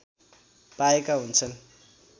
पाएका हुन्छन्